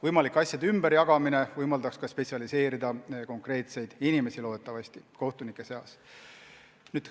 Võimalik asjade ümberjagamine võimaldaks konkreetsetel kohtunikel spetsialiseeruda.